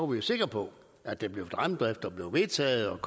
vi jo sikre på at der blev fremdrift og det blev vedtaget